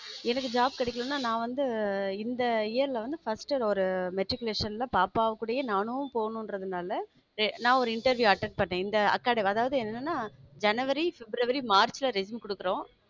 எனக்கு job கிடைக்கலன்னா நான் வந்து இந்த year ல வந்து first ஒரு matriculation ல பாப்பா கூடயே நானும் போணுன்றதுனால ய~நான் ஒரு interview attended பண்ணேன் இந்த academy அதாவது என்னன்னா ஜனவரி, பிப்ரவரி, மார்ச்ல resume கொடுக்கிறோம்